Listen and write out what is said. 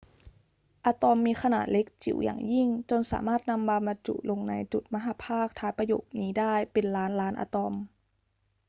อะตอมมีขนาดเล็กจิ๋วอย่างยิ่งจนสามารถนำมาบรรจุลงในจุดมหัพภาคท้ายประโยคนี้ได้เป็นล้านล้านอะตอม